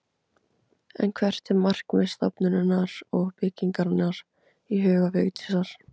En hvert er markmið stofnunarinnar og byggingarinnar í huga Vigdísar?